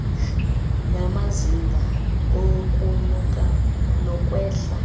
namazinga okunyuka nokwehla